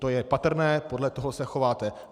To je patrné podle toho se chováte.